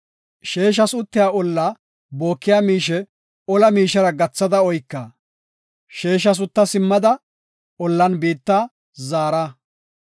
Sheeshas uttiya olla bookiya miishe ola miishera gathada oyka; sheeshas utta simmada ollan biitta zaara.